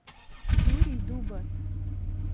юрий дубас